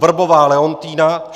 Wrbová Leontýna